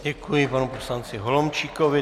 Děkuji panu poslanci Holomčíkovi.